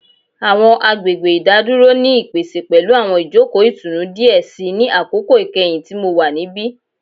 Awọn agbegbe idaduro ni ipese pẹlu awọn ijoko itunu diẹ sii ni akoko ikẹhin ti Mo wa nibi